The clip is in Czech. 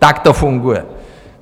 Tak to funguje.